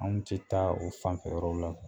Anw tɛ taa o fanfɛ yɔrɔw la.